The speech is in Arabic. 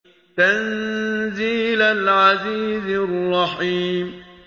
تَنزِيلَ الْعَزِيزِ الرَّحِيمِ